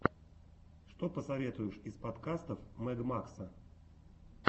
что посоветуешь из подкастов мэг макса